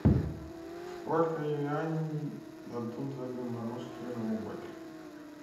сколько юаней дадут за белорусский рубль